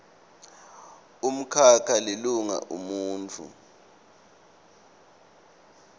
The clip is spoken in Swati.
umkhakha lilunga umuntfu